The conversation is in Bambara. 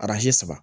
saba